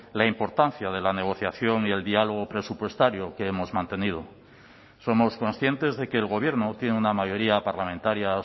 la importancia de la negociación y el diálogo presupuestario que hemos mantenido somos conscientes de que el gobierno tiene una mayoría parlamentaria